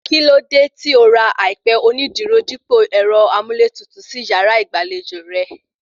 Kíló dé tí o ra àìpẹ onídùúró dípò ẹ̀rọ amúlétutù sí yàrá ìgbàlejò rẹ̀?